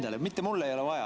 Iseendale, mulle ei ole vaja.